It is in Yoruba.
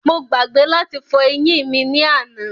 Mo gbàgbé láti fọ eyín mí ni àná